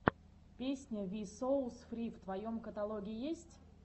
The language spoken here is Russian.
песня ви соус фри в твоем каталоге есть